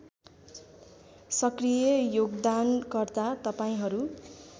सकृय योगदानकर्ता तपाईँहरू